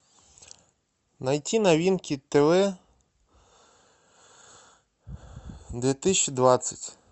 найти новинки тв две тысячи двадцать